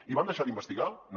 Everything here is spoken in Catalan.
i van deixar d’investigar no